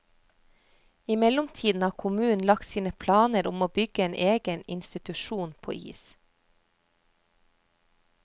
I mellomtiden har kommunen lagt sine planer om å bygge en egen institusjon på is.